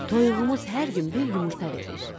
Toyuğumuz hər gün bir yumurta verir.